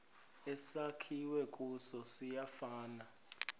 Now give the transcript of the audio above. esakhiwe kuso siyafana